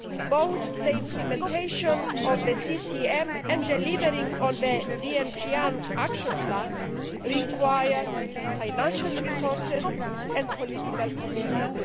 Both the implementation of the CCM and delivering on the Vientiane Action Plan require financial resources and political commitment.